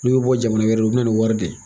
N'u bɛ bɔ jamana wɛrɛ u bɛ na nin wari de ye.